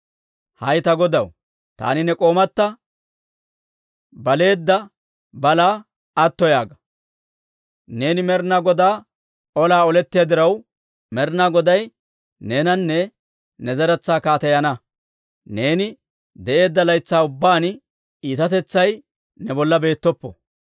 Hay ta godaw, taani ne k'oomatta baleedda balaa atto yaaga! Neeni Med'inaa Godaa olaa olettiyaa diraw, Med'inaa Goday neenanne ne zeretsaa kaateyana. Neeni de'eedda laytsaa ubbaan iitatetsay ne bolla beettoppo.